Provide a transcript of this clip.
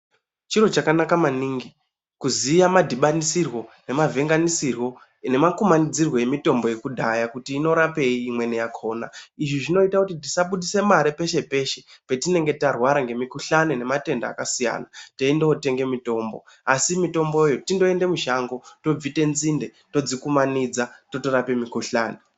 Chiro chakanaka maningi kuziya madhibanisirwo nemavhenganisirwo nemakumanidzirwe emitombo yekudhaya kuti inorapei imweni yakona. Izvi zvinoita kuti tisabudisa mari peshe peshe petinenge tarwara ngemikuhlani nematenda akasiyana teindootenga mitombo asi mitomboyo tindoende mushango tobvite nzinde todzikumanidza totorapa mikuhlani.